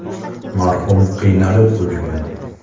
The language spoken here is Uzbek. “Marhum qiynalib o‘lgan”.